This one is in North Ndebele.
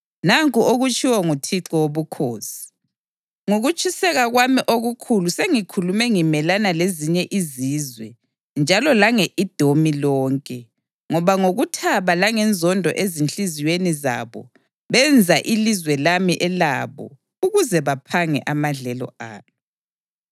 nanku okutshiwo nguThixo Wobukhosi: Ngokutshiseka kwami okukhulu sengikhulume ngimelana lezinye izizwe njalo lange-Edomi lonke, ngoba ngokuthaba langenzondo ezinhliziyweni zabo benza ilizwe lami elabo ukuze baphange amadlelo alo.’